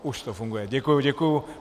Už to funguje, děkuji, děkuji.